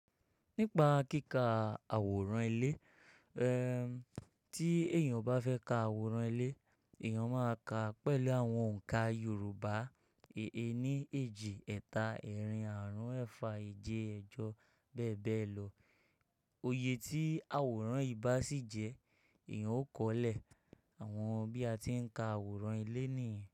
Nípa kíkà àwòrán ilé, eh tí èèyàn bá fẹ́ ka àwòrán ilé, èèyàn máa ka pẹ̀lú àwọn òǹkà Yoruba, ení, èjì, ẹ̀ta, ẹ́rìn, àrún, ẹ́fà, èje, ẹjọ bẹ́ẹ̀ bẹ́ẹ̀ lọ. Iyè tí àwòrán yi bà sì jẹ́, èèyàn ó kọ́lé àwọn bí a ti ń ka àwòrán ilé nìyẹn.